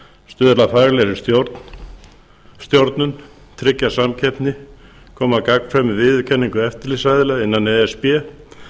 stuðla að faglegri stjórnun tryggja samkeppni koma á gagnkvæmri viðurkenningu eftirlitsaðila innan e s b